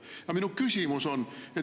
Aga minu küsimus on see.